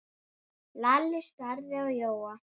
Lalli starði á Jóa.